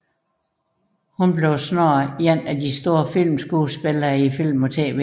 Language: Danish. Hun blev snart en af de store filmskuespillere i film og tv